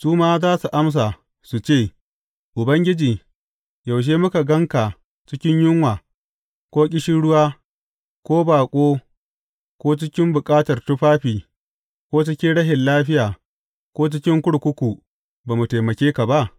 Su ma za su amsa, su ce, Ubangiji, yaushe muka gan ka cikin yunwa ko ƙishirwa ko baƙo ko cikin bukatar tufafi ko cikin rashin lafiya ko cikin kurkuku, ba mu taimake ka ba?’